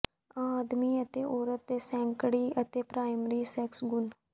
ਆਦਮੀ ਅਤੇ ਔਰਤ ਦੇ ਸੈਕੰਡਰੀ ਅਤੇ ਪ੍ਰਾਇਮਰੀ ਸੈਕਸ ਗੁਣ